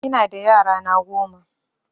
Ina da yara na goma